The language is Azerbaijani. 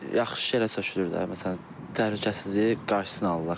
Yaxşı ki, elə sökülür də, məsələn, təhlükəsizliyi qarşısını alırlar.